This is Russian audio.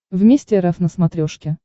вместе рф на смотрешке